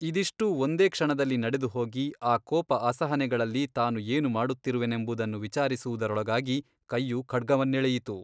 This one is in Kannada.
ಇದಿಷ್ಟೂ ಒಂದೇ ಕ್ಷಣದಲ್ಲಿ ನಡೆದು ಹೋಗಿ ಆ ಕೋಪ ಅಸಹನೆಗಳಲ್ಲಿ ತಾನು ಏನು ಮಾಡುತ್ತಿರುವೆನೆಂಬುದನ್ನು ವಿಚಾರಿಸುವುದರೊಳಗಾಗಿ ಕೈಯು ಖಡ್ಗವನ್ನೆಳೆಯಿತು.